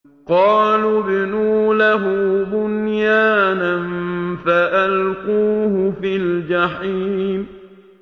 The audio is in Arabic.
قَالُوا ابْنُوا لَهُ بُنْيَانًا فَأَلْقُوهُ فِي الْجَحِيمِ